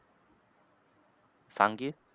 सांग की.